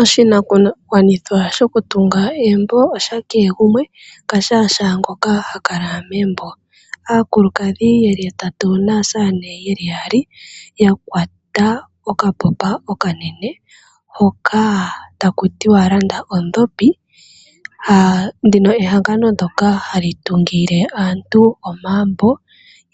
Oshinakugwanithwa shokutunga egumbo osha kehe gumwe hashaangoka owala ha kala megumbo. Aakulukadhi ye li yatatu naasamane ye li yaali ya kwata okaboba okanene hoka taku tiwa landa ondhopi. Ndika ehangano ndyoka hali tungile aantu omagumbo